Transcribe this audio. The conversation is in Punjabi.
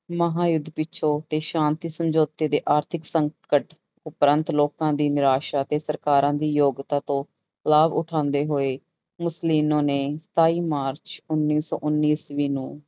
ਮਹਾਂਯੁੱਧ ਪਿੱਛੋਂ ਤੇ ਸ਼ਾਂਤੀ ਸਮਝੋਤੇ ਦੇ ਆਰਥਿਕ ਸੰਕਟ ਉਪਰੰਤ ਲੋਕਾਂ ਦੀ ਨਿਰਾਸ਼ਾ ਤੇ ਸਰਕਾਰਾਂ ਦੀ ਯੋਗਤਾਂ ਤੋਂ ਲਾਭ ਉਠਾਉਂਦੇ ਹੋ ਮੁਸਲੀਨੋ ਨੇ ਸਤਾਈ ਮਾਰਚ ਉੱਨੀ ਸੌ ਉੱਨੀ ਈਸਵੀ ਨੂੰ